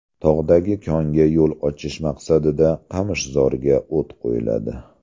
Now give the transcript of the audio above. Tog‘dagi konga yo‘l ochish maqsadida qamishzorga o‘t qo‘yiladi.